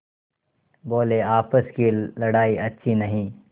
बोलेआपस की लड़ाई अच्छी नहीं